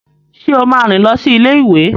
Ṣé o máa rìn lọ sí ilé-ìwé?